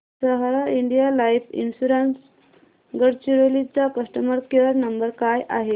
सहारा India life insurance Gadchiroli चा customer care number काय आहे